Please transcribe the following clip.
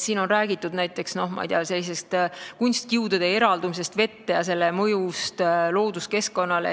Siin on räägitud, ma ei tea, kunstkiudude eraldumisest vette ja selle mõjust looduskeskkonnale.